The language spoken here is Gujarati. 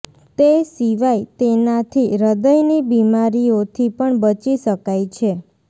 તે સિવાય તેનાથી હૃદયની બીમારીઓથી પણ બચી શકાય છે